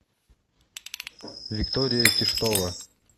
виктория киштова